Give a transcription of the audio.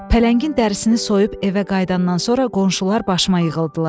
Pələngin dərisini soyub evə qayıdandan sonra qonşular başıma yığıldılar.